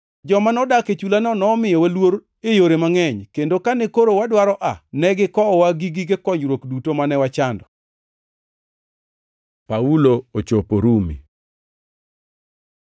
Joma nodak e chulano nomiyowa luor e yore mangʼeny kendo kane koro wadwaro aa, ne gikowowa gi gige konyruok duto mane wachando. Paulo ochopo Rumi